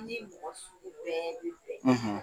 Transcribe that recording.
Ne ni mɔgɔ sugu bɛɛ bɛ bɛn.